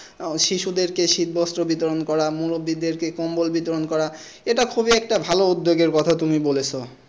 আহ শিশুদেরকে শীত বস্ত্র বিতরণ করা মুরব্বি দের কে কম্বল বিতরণ করা এইটা খুবই একটা ভালো উদ্যোগের কথা তুমি বলেছ।